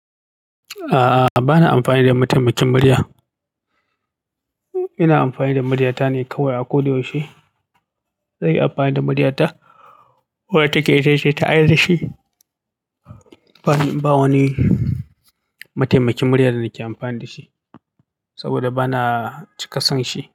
A'a, ba na amfani da mataimakin murya. Ina amfani da murya ta ne kawai a ko da yaushe. Zan yi amfani da murya ta, wadda take ita ce ta aina shi ba wani mataimakin murya da nake amfani da shi saboda bana cika son shi.